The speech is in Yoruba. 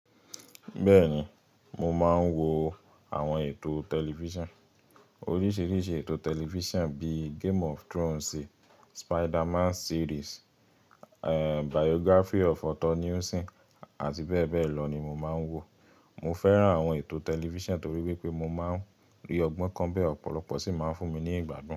Bẹ́ẹ̀ni, mo máa ń wo àwọn ètò tẹlifíṣàn. Oríṣìíríṣìí ètò tẹlifíṣàn bíi game of Thrones, Spiderman series, eh Biography of Otto Nelson àti bẹ́ẹ̀ bẹ́ẹ̀ lọ ni mo máa ń wò. Mo fẹ́ràn àwọn ètò tẹlifíṣàn torí wípé mo máa ń rí ọgbọ́n kan bẹ́ẹ̀, ọ̀pọ̀lọpọ̀ sì máa ń fún mi ní ìgbádùn.